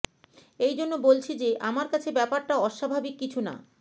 এইজন্য বলছি যে আমার কাছে ব্যাপারটা অস্বাভাবিক কিছু না